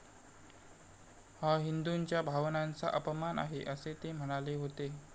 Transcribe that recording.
हा हिंदूंच्या भावनांचा अपमान आहे, असे ते म्हणाले होते.